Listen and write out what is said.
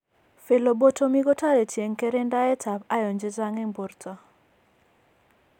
Phlebotomy kotareti en kerendaet ab iron chechang en borto